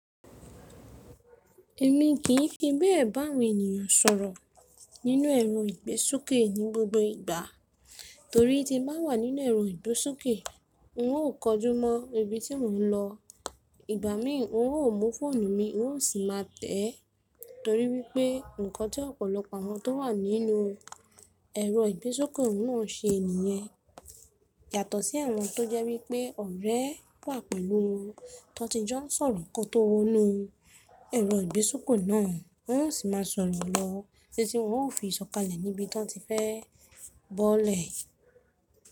Èmi kì í fi bẹ́ẹ̀ bá àwọn ènìyàn sọ̀rọ̀ nínú ẹ̀rọ ìgbésókè ní gbogbo ìgbà torí tí mo bá wà nínú ẹ̀rọ ìgbésókè, n ò kọjú mọ ibi tí mò ń lọ. Ìgbà mí n ò mọ fóònù mi, n ò sì má tẹ́ ẹ torí wípé nnkan tí ọ̀pọ̀lọpọ̀ àwọn tó wà nínú ẹ̀rọ ìgbésókè náà se nìyẹn. Yàtọ̀ sí ẹ̀wọ̀n tó jẹ́ wípé ọ̀rẹ́ wà pẹ̀lú wọn, tọ ti jọ sọ̀rọ̀ ǹkan tó wọ́nu, ẹ̀rọ ìgbésókè náà ò sì máa sọ̀rọ̀ lọ títí wọn ó fi ìsọ̀kalẹ̀ níbi tó ti fẹ́ bọ́lẹ̀